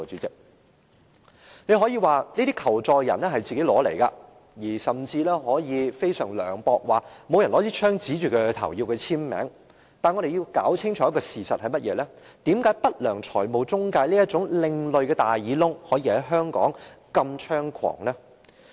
大家可以說這些求助人自討苦吃，更可以非常涼薄地說沒人拿槍指着他們迫他簽署，但我們要搞清楚一個事實，就是為何不良財務中介這種另類"大耳窿"可在香港如此猖狂？